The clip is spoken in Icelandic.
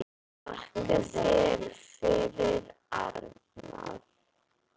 Þakka þér fyrir, Arnar.